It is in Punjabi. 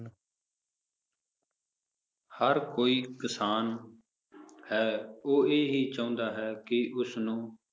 ਹਰ ਕੋਈ ਕਿਸਾਨ ਹੈ, ਉਹ ਇਹ ਹੀ ਚਾਹੁੰਦਾ ਹੈ ਕਿ ਉਸਨੂੰ